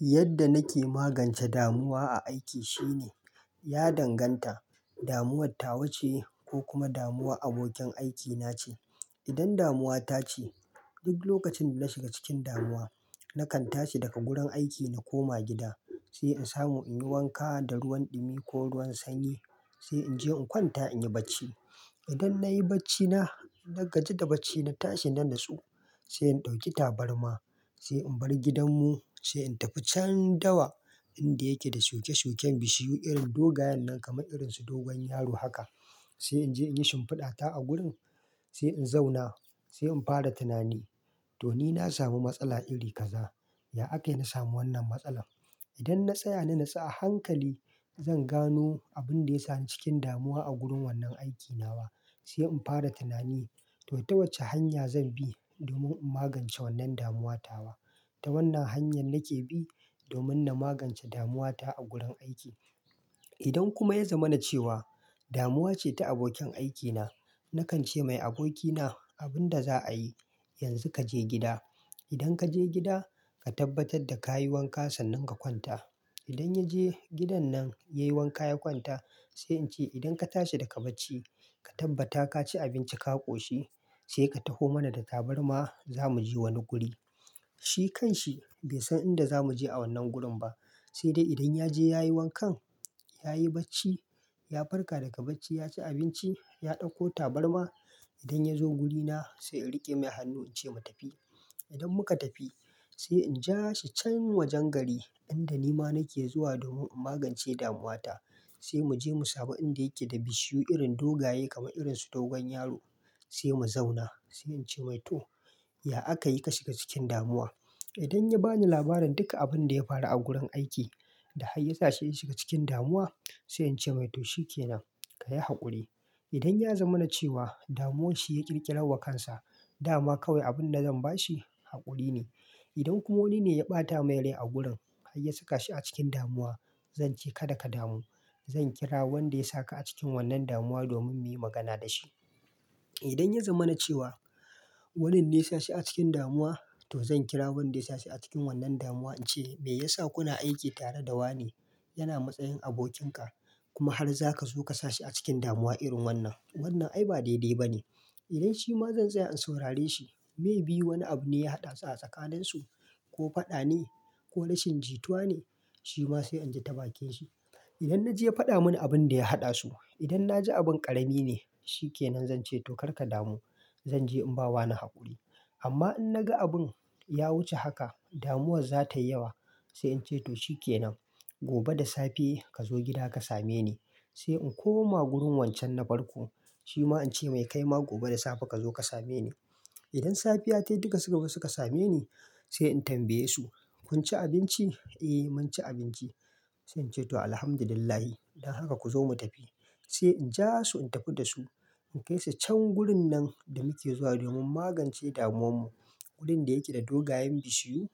Yadda nake magance damuwa a aiki shine, ya danganta damuwar ta wuce ko kuma damuwar abokin aikina ce. Idan damuwa ta ce, duk lokacin da na shiga cikin damuwa, nakan tashi daga gurin aiki na koma gida, sai in samu in yi wanka da ruwan ɗumi ko ruwan sanyi, sai in je in kwanta in yi barci. Idan na yi barcina, na gaji da barcina, na tashi na natsu, sai in ɗauki tabarma, sai in bar gidanmu, sai in tafi can dawa inda yake da shuke-shuken bishiyu irin dogayen nan kamar irinsu dogon yaro haka. Sai in je in yi shimfiɗata a gurin, sai in zauna, sai in fara tunani to ni na sami matsala iri kaza, ya aka yi na samu wannan matsalar? Idan na tsaya na natsu a hankali, zan gano abin da ya sa ni cikin damuwa a gurin wannan aikin nawa. Sai in fara tunani to ta wace hanya zan bi domin in magance wannan damuwa tawa. Ta wannan hanyar nake bi domin na magance damuwa ta a gurin aiki. Idan kuma ya zama na cewa damuwa ce ta abokin aikina, nakan ce mai, "Abokina, abin da za a yi, yanzu ka je gida. Idan ka je gida, ka tabbatar da ka yi wanka sannan ka kwanta." Idan ya je gidan nan, ya yi wanka ya kwanta, sai in ce, "idan ka tashi daga barci, ka tabbata ka ci abinci ka ƙoshi, sai ka taho mana da tabarma zamu je wani guri." Shi kan shi bai san inda zamu je a wannan gurin ba. Sai dai idan ya je ya yi wankan, ya yi barci, ya farka daga barci, ya ci abinci, ya ɗauko tabarma. Idan ya zo wurina sai in riƙe mai hannu in ce mu tafi. Idan muka tafi sai in ja shi can wajen gari inda ni ma nake zuwa domin in magance damuwa ta. Sai mu je mu samu inda yake da bishiyu irin dogaye kamar irinsu dogon yaro, sai mu zauna. Sai in ce mai, "to ya aka yi ka shiga cikin damuwa?" Idan ya ba ni labarin duka abin da ya faru a gurin aiki da har ya sa shi ya shiga cikin damuwa, sai in ce mai, "to shike nan, ka yi haƙuri." Idan ya zama na cewa damuwar shi ya ƙirƙira wa kansa, dama kawai abin da zan ba shi haƙuri ne. Idan kuma wani ne ya ɓata mai rai a gurin har ya saka shi a cikin damuwa, zan ce, "Kada ka damu, zan kira wanda ya saka a cikin wannan damuwa domin muyi magana da shi." Idan ya zama na cewa wannan ne ya sa shi a cikin damuwa, to zan kira wanda ya sa shi a cikin wannan damuwa. In ce, "Me yasa kuna aiki tare da wane yana matsayin abokin ka kuma har za ka zo ka sa shi a cikin damuwa irin wannan? Wannan ai ba daidai ba ne." Idan shi ma zan tsaya in saurare shi. Mai biyu wani abu ne ya haɗa su a tsakanin su, ko faɗa ne ko rashin jituwa ne, shi ma sai in ji ta bakin shi. Idan na je ya faɗa mun abin da ya haɗa su, idan na ji abin ƙarami ne, shike nan zan ce to kar ka damu. Zan je in ba wa ni haƙuri. Amma in na ga abin ya wuce haka, damuwar za tayi yawa, sai in ce to shike nan, gobe da safe ka zo gida ka same ni. Sai in koma wurin wancan na farko, shi ma in ce mai, "Kai ma gobe da safe ka zo ka same ni." Idan safiya ta yi duka suka zo suka same ni, sai in tambaye su, "Kun ci abinci?" "Eh mun ci abinci." Sai in ce to Alhamdulillah, idan haka ku zo mu tafi. Sai in ja su in tafi da su in kai su can wurin nan da muke zuwa domin magance damuwan mu, wurin da yake da dogayen bishiyu.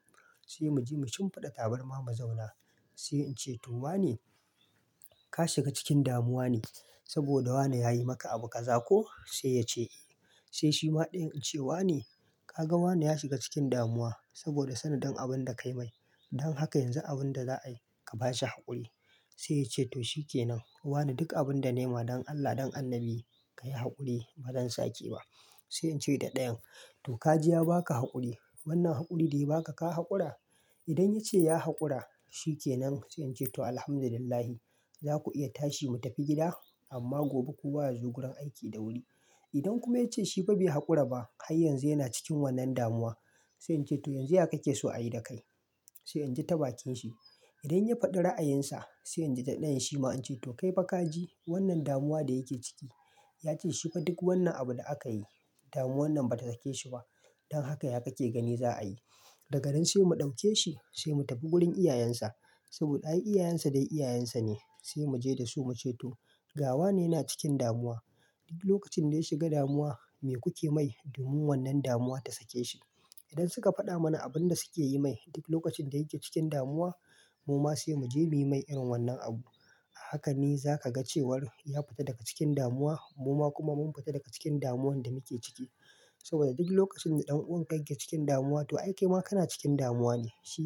Sai mu je mu shimfiɗa tabarma mu zauna. Sai in ce, "to wane ka shiga cikin damuwa ne saboda wane ya yi maka abu kaza, ko?" Sai ya ce eh. Sai shi ma ɗayan in ce, "Wane? Ka ga wane ya shiga cikin damuwa saboda sana don abin da ka yi mai. Idan haka yanzu abin da za a yi, ka ba shi haƙuri." Sai ya ce to shikenan, wane duk abin da na yi ma don Allah don Annabi ka yi haƙuri ba zan sake yi ba. Sai in ce da ɗayan, "to ka ji ya ba ka haƙuri. Wannan haƙuri dai ba ka ka haƙura?" Idan ya ce ya haƙura shike nan sai in ce to Alhamdulillah za ku iya tashi mu tafi gida amma gobe kowa ya zo gurin aiki da wuri. Idan kuma ya ce shi fa bai haƙura ba har yanzu yana cikin wannan damuwa, sai in ce to yanzu ya kake so a yi da kai? Sai in ji tabakin shi. Idan ya faɗi ra'ayinsa sai in ji da ɗayan shi ma in ce to kai fa kaji wannan damuwa da yake ciki. Ya ce shi fa duk wannan abu da aka yi, damuwan nan ba ta rike shi ba. Don haka ya kake gani za a yi. Daga nan sai mu ɗauke shi sai mu tafi gurin iyayensa saboda ai iyayensa dai iyayensa ne. Sai mu je da su mu ce to ga wane yana cikin damuwa. Duk lokacin da ya shiga damuwa me kuke mai domin wannan damuwa ta sake shi? Idan suka faɗa mana abin da suke yi mai duk lokacin da yake cikin damuwa, mu ma sai mu je muyi mai irin wannan abu. Haka ne za ka ga cewar ya fita daga cikin damuwa mu ma kuma mun fita daga cikin damuwan da muke ciki. Saboda duk lokacin da ɗan'uwan ka yake cikin damuwa to ai kai ma kana cikin damuwa ne shi.